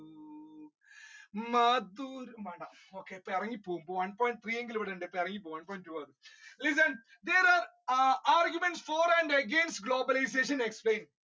വേണ്ട ഇറങ്ങി പോവും. one point three എങ്കിലും ഉണ്ട് listen arguments for and against globalisation explain